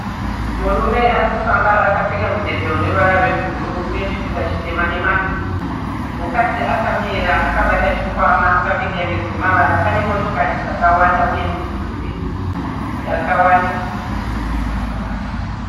Murume arikufamba akapefeka mudhebhe rune ruvara rwe blue uye chipika chitema nemasiki, mukadzi akamira akabata chikwama akpfeka hembe dzine mavara, pane motokari dzakawanda uye mudhuri akawanda.